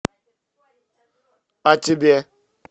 а тебе